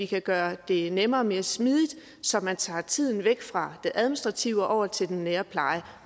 kan gøre det nemmere og mere smidigt så vi tager tiden væk fra det administrative og over til den nære pleje